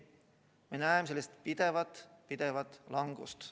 Me näeme pidevat langust.